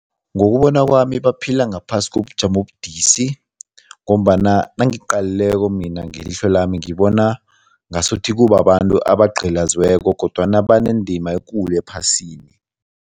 Ngokubona kwami, baphila ngaphasi kobujamo obudisi ngombana nangiqalileko mina ngelihlo lami, ngibona ngasuthi kubabantu abagqilaziweko kodwana banendima ekulu ephasini.